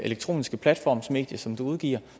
elektroniske platformsmedie som du udgiver